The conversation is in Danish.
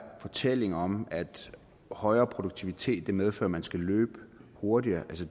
fortælling om at en højere produktivitet medfører at man skal løbe hurtigere altså